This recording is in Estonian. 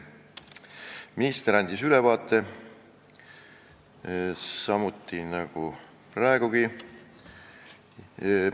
Minister andis sellest ülevaate nagu praegugi.